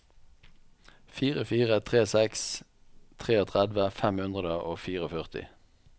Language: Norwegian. fire fire tre seks trettitre fem hundre og førtifire